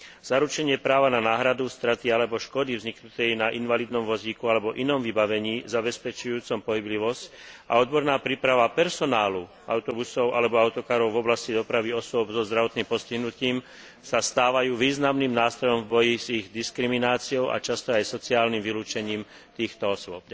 Zaručenie práva na náhradu straty alebo škody vzniknutej na invalidnom vozíku alebo inom vybavení zabezpečujúcom pohyblivosť a odborná príprava personálu autobusov alebo autokarov v oblasti dopravy osôb so zdravotným postihnutím sa stávajú významným nástrojom v boji s ich diskrimináciou a často aj sociálnym vylúčením týchto osôb.